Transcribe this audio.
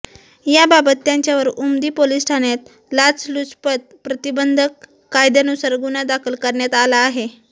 याबाबत त्याच्यावर उमदी पोलिस ठाण्यात लाचलुचपत प्रतिबंधक कायद्यानुसार गुन्हा दाखल करण्यात आला आहे